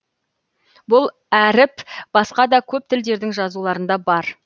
бұл әріп басқа да көп тілдердің жазуларында бар